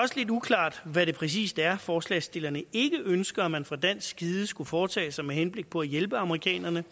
uklart hvad det præcis er forslagsstillerne ikke ønsker at man fra dansk side skulle foretage sig med henblik på at hjælpe amerikanerne